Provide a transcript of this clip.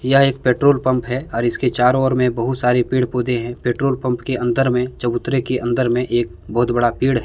यह एक petrol pump है और इसके चारों ओर में बहोत सारे पेड़ पौधे है पेट्रोल पंप के अंदर में चबूतरे के अंदर में एक बहोत बड़ा पेड़ है।